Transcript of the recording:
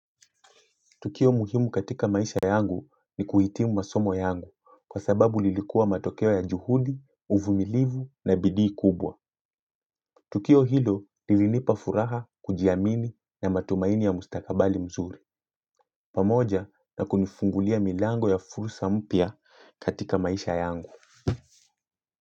Tukio muhimu katika maisha yangu ni kuhitimu masomo yangu kwa sababu lilikua matokeo ya juhudi, uvumilivu na bidii kubwa. Tukio hilo lilinipa furaha kujiamini na matumaini ya mustakabali mzuri. Pamoja na kunifungulia milango ya fursa mpya katika maisha yangu.